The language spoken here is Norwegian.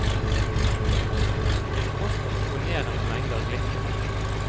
Til tross for imponerende mengder glitter.